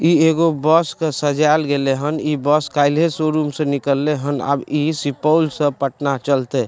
इ एगो बस के सजाएल गेले हन इ बस कायल्हे शोरूम से निकले हन आब इ सुपौल से पटना चलते।